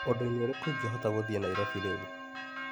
ũndũ-inĩ ũrĩkũ ingĩhota gũthiĩ Naĩrobĩ rĩu ?